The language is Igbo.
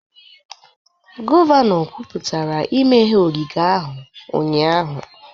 Gọvanọ kwuputara imeghe ogige ogige ahụ ụnyahụ